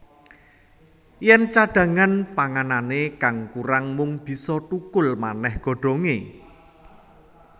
Yèn cadhangan panganané kang kurang mung bisa thukul manèh godhongé